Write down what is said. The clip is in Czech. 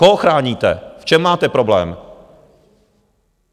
Koho chráníte, v čem máte problém?